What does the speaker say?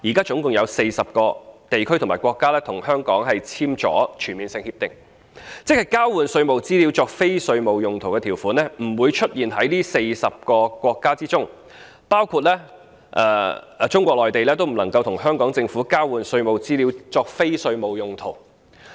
現時共有40個地區或國家與香港簽訂了全面性協定，即交換稅務資料作非稅務用途的條款不會出現在這40個國家當中，包括中國內地也不能與香港政府交換稅務資料作非稅務用途。